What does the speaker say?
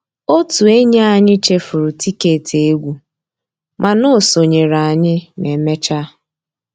Ótú ényí ànyị́ chèfùrú tìkétì égwu mànà ó sonyééré ànyị́ mà emeéchaa